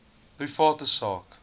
private sak